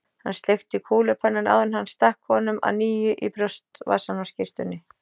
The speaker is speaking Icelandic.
Hann sleikti kúlupennann, áður en hann stakk honum að nýju í brjóstvasann á skyrtunni.